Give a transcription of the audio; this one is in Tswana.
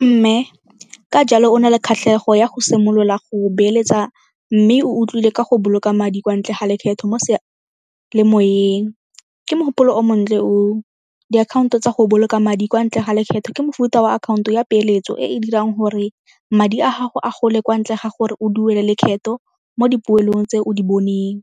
Mme, ka jalo o na le kgatlhego ya go simolola go beeletsa mme o utlwile ka go boloka madi kwa ntle ga lekgetho mo . Ke mogopolo o montle oo, diakhaonto tsa go boloka madi kwa ntle ga lekgetho ke mofuta wa akhaonto ya peeletso e e dirang gore madi a gago a gole kwa ntle ga gore o duele lekgetho mo dipoelong tse o di boneng.